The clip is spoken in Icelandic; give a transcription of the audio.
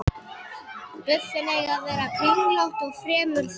Buffin eiga að vera kringlótt og fremur þunn.